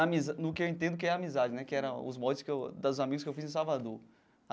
Amiza no que eu entendo que é amizade né, que eram os moldes que eu dos amigos que eu fiz em Salvador.